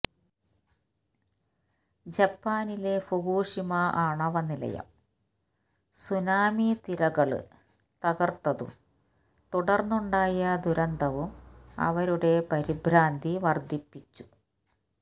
ജപ്പാനിലെ ഫുകുഷിമ ആണവനിലയം സുനാമിത്തിരകള് തകര്ത്തതും തുടര്ന്നുണ്ടായ ദുരന്തവും അവരുടെ പരിഭ്രാന്തി വര്ധിപ്പിച്ചു